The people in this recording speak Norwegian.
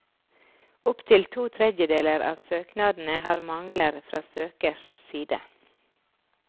Opp til to tredjedeler av søknadene har mangler fra søkers side.